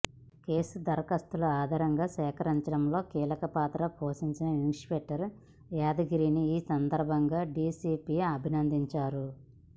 case దర్యాప్తులో ఆధారాలు సేకరించడంలో కీలక పాత్ర పోషించిన ఇన్స్పెక్టర్ యాదగిరిని ఈ సందర్భంగా డీసీపీ అభినందించారు